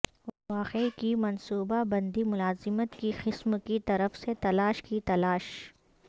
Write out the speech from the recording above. واقعہ کی منصوبہ بندی ملازمت کی قسم کی طرف سے تلاش کی تلاش